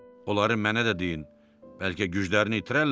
Onları mənə də deyin, bəlkə güclərini itirərlər.